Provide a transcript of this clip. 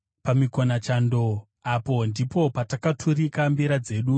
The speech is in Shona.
Pamikonachando apo ndipo patakaturika mbira dzedu,